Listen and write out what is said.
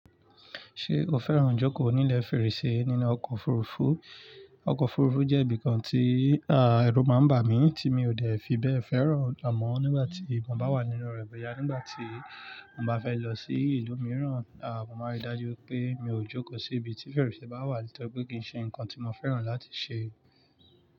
Ṣé o fẹ́ràn jókòó nílẹ̀ fèrèsé nínú ọkọ̀ òfurufú? Ọkọ̀ òfurufú jẹ́ ibìkan tí, à, ẹrú máa ń bà mí tí mi ò dẹ̀ fi bẹ́ẹ̀ fẹ́ràn. Àmọ́ nígbà tí mo bá wà nínú rẹ̀ bẹ́ẹ ya, nígbà tí mo bá fẹ́ lọ sí ìlú mìíràn, à, mo máa rí i dájú pé mi ò jókòó sí ibi tí fèrèsé bá wà nítorí pé kì í ṣe nǹkan tí mo fẹ́ràn láti ṣe.